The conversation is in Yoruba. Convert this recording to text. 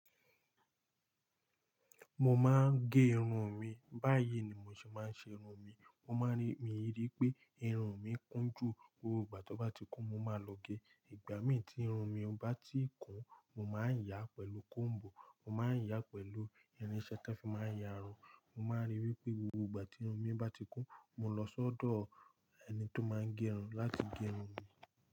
Mo máa ń gé irun mi, báyìí ni mo ṣe máa ń ṣe irun mi. Mo máa ń rí mi ri i pé irun mi kún jù, gbogbo ìgbà tí ó bá ti kún, mo máa lọ gé. Ìgbà mí tí irun mi bá ti kún, mo máa ń yà á pẹ̀lú kóm̀bù, mo máa ń yà á pẹ̀lú irinṣẹ́ tan fi máa ń yà run. Mo máa ń rí wi pé gbogbo ìgbà tí irun mi bá ti kún, mo lọ sọ́dọ̀ ẹni tó máa ń gé run láti gẹ run.